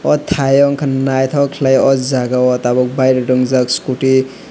o tai o ongka naitok kelaioe ojagao tab bairek wng jak scooty .